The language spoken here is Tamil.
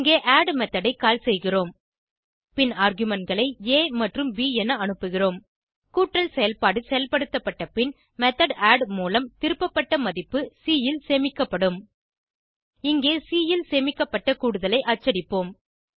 இங்கே ஆட் மெத்தோட் ஐ கால் செய்கிறோம் பின் argumentகளை ஆ மற்றும் ப் என அனுப்புகிறோம் கூட்டல் செயல்பாடு செயல்படுத்தப்பட்ட பின் மெத்தோட் ஆட் மூலம் திருப்பப்பட்ட மதிப்பு சி ல் சேமிக்கப்படும் இங்கே சி ல் சேமிக்கப்பட்ட கூடுதலை அச்சடிப்போம்